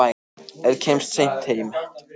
Ef ég kem seint heim á